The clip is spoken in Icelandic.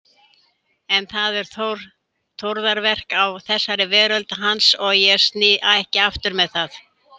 En það eru Þórðarverk á þessari veröld hans, ég sný ekki aftur með það.